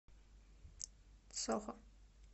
сохо